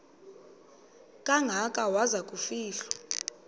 kangaka waza kufihlwa